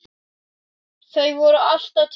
Þau voru alltaf til staðar.